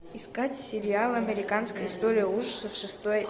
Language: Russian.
искать сериал американская история ужасов шестой